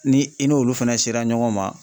Ni i n'olu fɛnɛ sera ɲɔgɔn ma